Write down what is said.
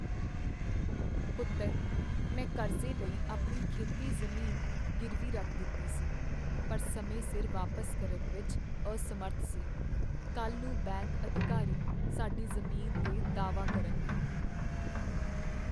ਪੁੱਤਰ, ਮੈਂ ਕਰਜ਼ੇ ਲਈ ਆਪਣੀ ਖੇਤੀ ਜ਼ਮੀਨ ਗਿਰਵੀ ਰੱਖ ਦਿੱਤੀ ਸੀ ਪਰ ਸਮੇਂ ਸਿਰ ਵਾਪਸ ਕਰਨ ਵਿੱਚ ਅਸਮਰੱਥ ਸੀ। ਕੱਲ੍ਹ ਨੂੰ ਬੈਂਕ ਅਧਿਕਾਰੀ ਸਾਡੀ ਜ਼ਮੀਨ 'ਤੇ ਦਾਅਵਾ ਕਰਨਗੇ।